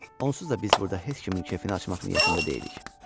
Onsuz da biz burda heç kimin kefini açmaq niyyətində deyilik.